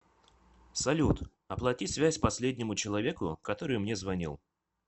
салют оплати связь последнему человеку который мне звонил